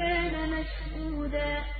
كَانَ مَشْهُودًا